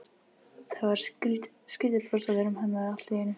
Það var skrýtið bros á vörum hennar allt í einu.